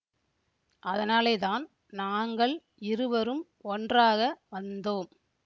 அதனாலேதான் நாங்கள் இருவரும் ஒன்றாக வந்தோம்